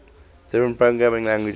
different programming languages